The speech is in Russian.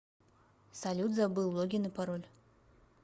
салют забыл логин и пароль